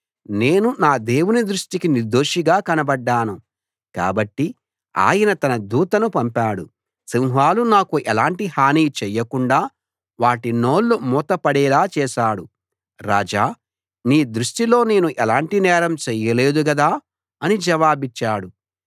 నేను నా దేవుని దృష్టికి నిర్దోషిగా కనబడ్డాను కాబట్టి ఆయన తన దూతను పంపాడు సింహాలు నాకు ఎలాంటి హానీ చేయకుండ వాటి నోళ్లు మూతపడేలా చేశాడు రాజా నీ దృష్టిలో నేను ఎలాంటి నేరం చేయలేదు గదా అని జవాబిచ్చాడు